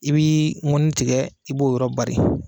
I b'i ŋɔni tigɛ i b'o yɔrɔ bari.